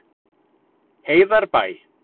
Heiðarbæ